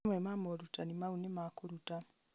mamwe ma morutani Mau nĩ ma kũruta